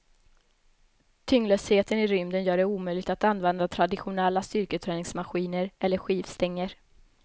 Tyngdlösheten i rymden gör det omöjligt att använda traditionella styrketräningsmaskiner eller skivstänger.